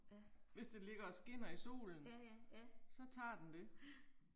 Ja. Ja ja, ja. Ja